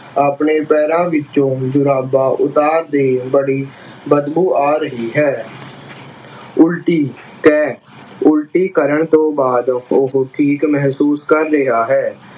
ਆਪਣੇ ਪੈਰਾਂ ਵਿੱਚੋਂ ਜ਼ੁਰਾਬਾਂ ਉਤਾਰ ਦੇ ਬੜੀ ਬਦਬੂ ਆ ਰਹੀ ਹੈ ਉਲਟੀ ਕੈਅ, ਉਲਟੀ ਕਰਨ ਤੋਂ ਬਾਅਦ ਉਹੋ ਠੀਕ ਮਹਿਸੂਸ ਕਰ ਰਿਹਾ ਹੈ